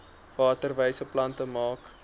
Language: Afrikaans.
waterwyse plante maak